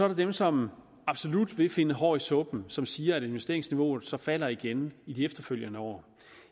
der dem som absolut vil finde hår i suppen som siger at investeringsniveauet så falder igen i de efterfølgende år